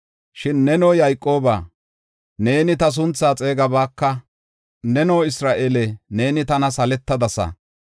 Shin neno Yayqoobaa, neeni ta sunthaa xeegabaka; neno Isra7eele, neeni tana saletadasa.